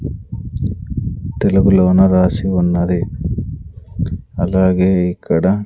తెలుగులోన రాసి ఉన్నది అలాగే ఇక్కడ--